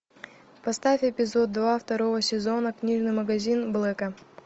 поставь эпизод два второго сезона книжный магазин блэка